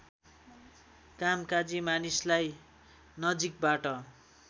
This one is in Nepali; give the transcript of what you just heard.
कामकाजी मानिसलाई नजिकबाट